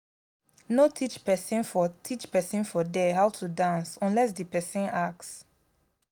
no teach persin for teach persin for there how to dance unless di persin ask